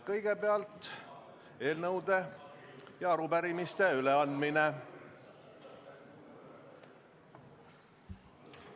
Kõigepealt on eelnõude ja arupärimiste üleandmine.